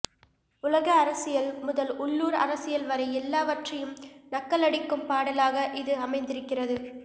உலக அரசியல் முதல் உள்ளூர் அரசியல் வரை எல்லாவற்றையும் நக்கலடிக்கும் பாடலாக இது அமைந்திருக்கிறது